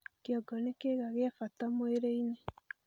Kĩongo nĩ kĩĩga gĩa bata mwĩrĩ-inĩ